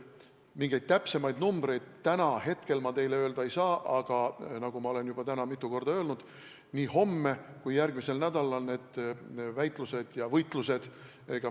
Mingeid täpseid numbreid täna ma teile öelda ei saa, aga nagu ma olen täna juba mitu korda öelnud, nii homme kui ka järgmisel nädalal need väitlused ja võitlused jätkuvad.